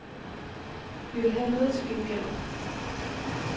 Vi vil have noget til gengæld.